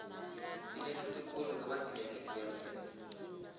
sinetjhudu khulu ngoba sinemithi yemvelo